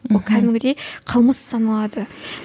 мхм кәдімгідей қылмыс саналады